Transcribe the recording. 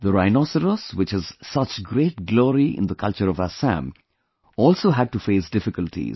The rhinoceros, which has such great glory in the culture of Assam, also had to face difficulties